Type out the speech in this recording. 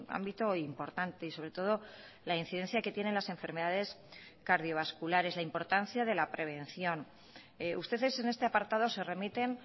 ámbito importante y sobre todo la incidencia que tienen las enfermedades cardiovasculares la importancia de la prevención ustedes en este apartado se remiten